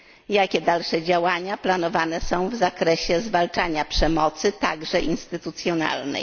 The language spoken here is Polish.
Jakie dalsze działania planowane są w zakresie zwalczania przemocy, także instytucjonalnej?